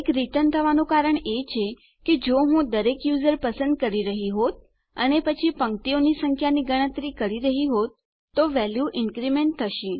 1 પાછું આવવાનું કારણ એ છે કે જો હું દરેક વપરાશકર્તાને પસંદ કરી રહ્યો હોત અને પછી હરોળોની સંખ્યાની ગણતરી કરી રહ્યો હોત તો વેલ્યુ ઇન્ક્રીમેન્ટ થશે